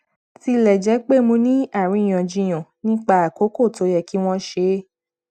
tilẹ jẹ pé mo ní àríyànjiyàn nípa àkókò tó yẹ kí wọn ṣe é